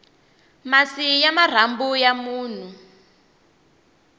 masi ya marhambu ya munhu